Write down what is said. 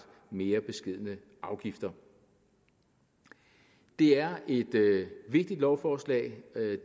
mere beskedne afgifter det er et vigtigt lovforslag